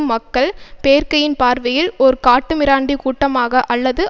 மக்கள் பேர்க்கயின் பார்வையில் ஒரு காட்டுமிராண்டி கூட்டமாக அல்லது